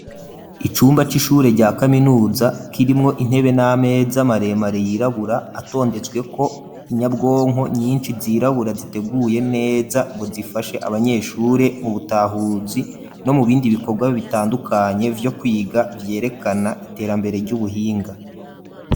Icumba c'ishure, rya kaminuza, kirimwo intebe, n'ameza maremare, yirabura; atondetsweko, inyabwonko nyinshi, zirabura, ziteguye neza, ngo zifashe abanyeshure, mu butahuzi, no mu bindi bikorwa, bitandukanye, vyo kwiga, vyerekana iterambere, ry'ubuhinga.